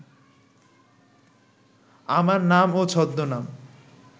আমার নাম ও ছদ্মনাম